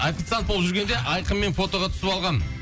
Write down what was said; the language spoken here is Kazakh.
официант болып жүргенде айқынмен фотоға түсіп алғанмын